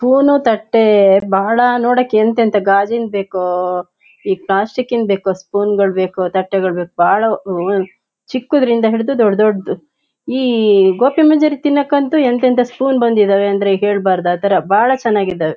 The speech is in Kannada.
ಸ್ಪೂನು ತಟ್ಟೆ ಬಹಳ ನೋಡೋಕೆ ಎಂತೆಂತಾ ಗಾಜಿನ್ದ ಬೇಕು ಇ ಪ್ಲಾಸ್ಟಿಕಿಂದ್ ಬೇಕು ಸ್ಪೂನ್ಗಳು ಬೇಕು ತಟ್ಟೆಗಳು ಬೇಕು. ಬಹಳ ಆಹ್ಹ್ ಚಿಕ್ಕದ್ರಿಂದ ಹಿಡಿದು ದೊಡ್ ದೊಡದು. ಇ ಗೋಭಿ ಮಂಚೂರಿ ತಿನ್ನೋಕಂತು ಎಂತೆಂಥಾ ಸ್ಪೂನ್ ಬಂದಿದವೇ ಅಂದ್ರೆ ಹೇಳ್ಬಾರ್ದ್ ಆತರ ಬಹಳ ಚೆನ್ನಾಗಿದಾವೆ.